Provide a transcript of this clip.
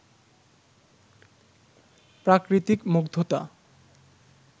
প্রাকৃতিক মুগ্ধতা